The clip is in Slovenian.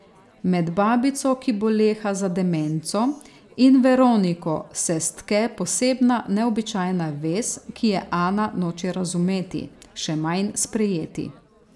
Med babico, ki boleha za demenco, in Veroniko se stke posebna, neobičajna vez, ki je Ana noče razumeti, še manj sprejeti.